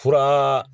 Fura